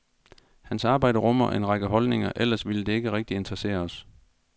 Hans arbejde rummer en række holdninger, ellers ville det ikke rigtig interessere os.